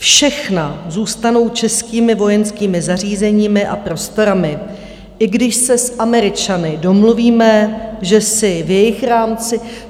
Všechna zůstanou českými vojenskými zařízeními a prostorami, i když se s Američany domluvíme, že si v jejich rámci...